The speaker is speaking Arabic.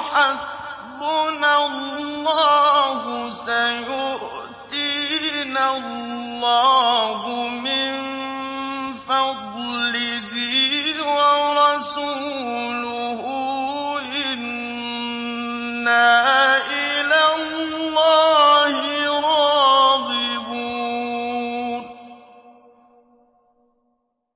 حَسْبُنَا اللَّهُ سَيُؤْتِينَا اللَّهُ مِن فَضْلِهِ وَرَسُولُهُ إِنَّا إِلَى اللَّهِ رَاغِبُونَ